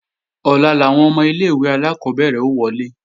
Ọ̀la làwọn ọmọ ilé-ìwé alákọ́bẹ̀rẹ̀ ó wọlé